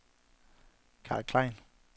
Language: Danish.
Carl Klein